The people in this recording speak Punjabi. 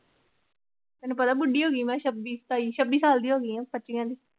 ਤੈਨੂੰ ਪਤਾ ਬੁੱਢੀ ਹੋ ਗਈ ਮੈਂ ਛੱਬੀ ਸਤਾਈ, ਛੱਬੀ ਸਾਲ ਦੀ ਹੋ ਗਈ ਹਾਂ ਪੱਚੀਆਂ ਦੀ।